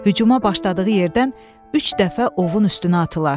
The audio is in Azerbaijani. Hücuma başladığı yerdən üç dəfə ovun üstünə atılar.